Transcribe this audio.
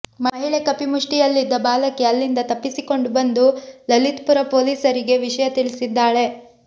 ಮಹಿಳೆ ಕಪಿಮುಷ್ಠಿಯಲ್ಲಿದ್ದ ಬಾಲಕಿ ಅಲ್ಲಿಂದ ತಪ್ಪಿಸಿಕೊಂಡು ಬಂದು ಲಲಿತ್ಪುರ ಪೊಲೀಸರಿಗೆ ವಿಷಯ ತಿಳಿಸಿದ್ದಾಳೆ